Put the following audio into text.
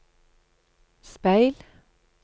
speil